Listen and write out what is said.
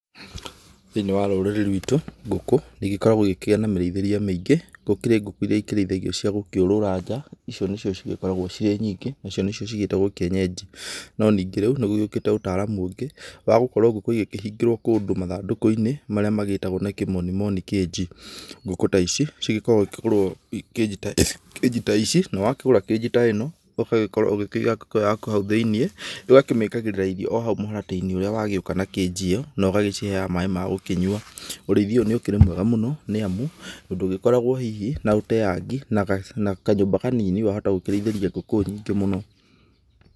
Thĩ-inĩ wa rũrĩrĩ rwitũ, ngũkũ igĩkoragwo igĩkĩgĩa mĩreithĩrie mĩingĩ, gũkĩrĩ ngũkũ iria ikĩrĩithagio cia gũkĩũrũra nja, icio nĩcio cigĩkoragwo cirĩ nyingĩ, icio nĩcio ciĩtagwo kienyeji, no ningĩ rĩu nĩgũgĩũkĩte ũtaaramu ũngĩ wa gũkorwo ngũkũ igĩkĩhingĩrwo kũndũ mathandũkũ-inĩ marĩa magĩtagwo na kĩmonimoni cage, ngũkũ ta ici cigĩkoragwo ikĩgũrwo cage ta ici, na wakĩgũra cage ta ĩno ũgagĩkorwo ũkĩiga ngũkũ yaku hau thĩ-inĩ, nĩũgakĩmĩkagĩrĩra irio o hau mũharatĩ-inĩ ũrĩa wagĩũka na cage ĩyo, nogagĩciheaga maĩ ma gũcinyua, ũrĩithia ũyũ nĩũkĩrĩ mwega mũno nĩamu ndũgĩkoragwo hihi na ũteangi, na kanyũmba kanini wahota gũkĩraithĩria ngũkũ nyingĩ mũno.